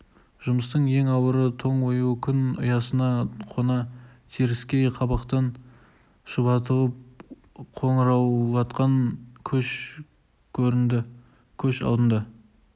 жұмыстың ең ауыры тоң ою күн ұясына қона теріскей қабақтан шұбатылып қоңыраулатқан көш көрінді көш алдында